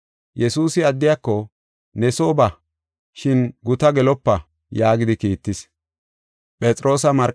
Yesuusi addiyako, “Ne soo ba, shin gutaa gelopa” yaagidi kiittis.